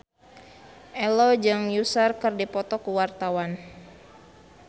Ello jeung Usher keur dipoto ku wartawan